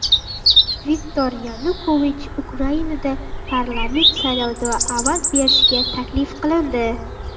Viktor Yanukovich Ukrainada parlament saylovida ovoz berishga taklif qilindi.